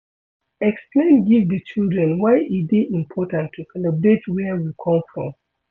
Explain give di children why e dey important to celebrate where we come from